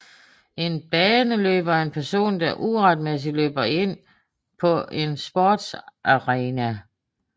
En baneløber er en person der uretmæssigt løber ind på en sportsarena